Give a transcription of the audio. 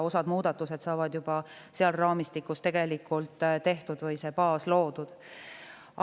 Osa muudatusi saab selles raamistikus tehtud või see baas loodud.